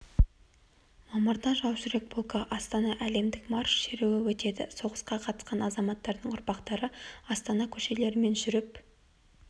мамырда жаужүрек полкі астана әлемдік марш шеруі өтеді жж соғысқа қатысқан азаматтардың ұрпақтары астана көшелерімен жүріп